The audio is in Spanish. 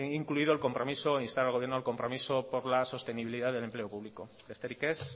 incluido instar al gobierno al compromiso por la sostenibilidad del empleo público besterik ez